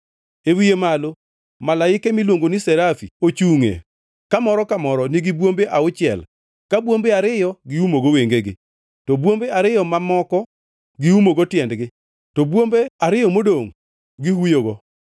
E wiye malo malaike miluongoni serafi ochungʼe kamoro ka moro nigi bwombe auchiel ka bwombe ariyo giumogo wengegi, to bwombe ariyo mamako giumogo tiendegi, to bwombe ariyo modongʼ gihuyogo.